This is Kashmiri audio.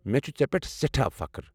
مےٚ چھُ ژےٚ پٮ۪ٹھ سٮ۪ٹھاہ فخٕر۔